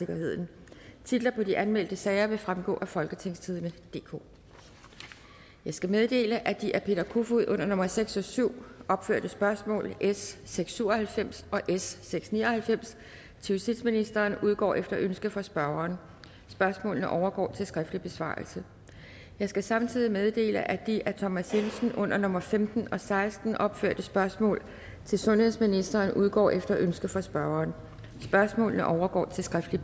femten titler på de anmeldte sager vil fremgå af folketingstidende DK jeg skal meddele at de af peter kofod under nummer seks og syv opførte spørgsmål s seks hundrede og syv og halvfems og s seks ni og halvfems til justitsministeren udgår efter ønske fra spørgeren spørgsmålene overgår til skriftlig besvarelse jeg skal samtidig meddele at de af thomas jensen under nummer femten og seksten opførte spørgsmål til sundhedsministeren udgår efter ønske fra spørgeren spørgsmålene overgår til skriftlig